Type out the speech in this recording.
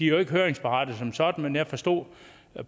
jo ikke høringsberettigede som sådan men jeg forstod